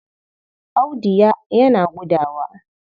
Audu ya yana gudawa.